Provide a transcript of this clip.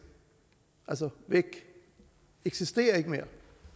altså væk eksisterer ikke mere